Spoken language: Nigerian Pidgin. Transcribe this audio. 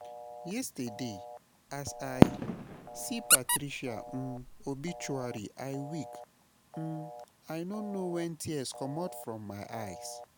Yesterday, as I see Patricia um obituary I weak, um I no know when tears comot for my eyes